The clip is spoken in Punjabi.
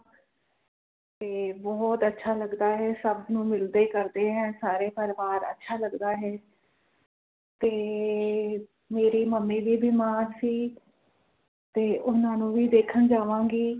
ਤੇ ਬੋਹੋਤ ਅੱਛਾ ਲੱਗਦਾ ਹੈ ਸਭ ਨੂੰ ਮਿਲਦੇ ਕਰਦੇ ਹਨ ਸਾਰੇ ਪ੍ਰਵਾਰ ਅੱਛਾ ਲੱਗਦਾ ਹੈ ਤੇ ਮੇਰੀ ਮੰਮੀ ਵੀ ਬਿਮਾਰ ਸੀ ਤੇ ਉਹਨਾਂ ਨੂੰ ਵੀ ਦੇਖਣ ਜਾਵਾਂਗੇ